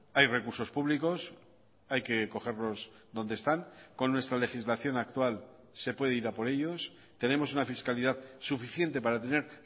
hay recursos públicos hay que cogerlos donde están con nuestra legislación actual se puede ir a por ellos tenemos una fiscalidad suficiente para tener